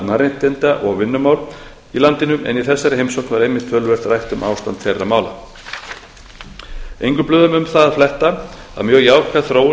mannréttinda og vinnumál í landinu en í þessari heimsókn var einmitt töluvert rætt um ástand þeirra mála engum blöðum er um það að fletta að mjög jákvæð þróun